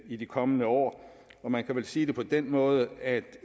i de kommende år og man kan vel sige det på den måde at der